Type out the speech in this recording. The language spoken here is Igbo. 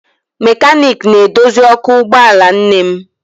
Mekaniiki na-edozi ọkụ ụgbọala nne m